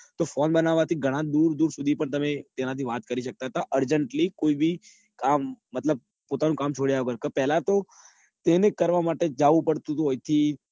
તો phone બનાવવા ઘણાં દૂર દૂર તમે દેશો urgently કોઈ બી આમ મતલબ પોતાના કામ છોડ્યા વગર પેલા તો એને કરવા માટે જાઉં પડતું ઓય થી